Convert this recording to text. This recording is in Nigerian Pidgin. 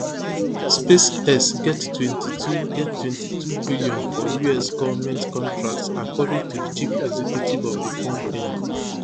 spacex get twenty-two get twenty-two billion for us goment contracts according to di chief executive of di company